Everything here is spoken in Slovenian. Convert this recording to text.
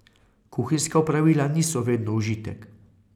Kuhinjska opravila niso vedno užitek.